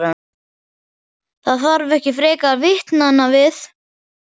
Það þarf ekki frekar vitnanna við.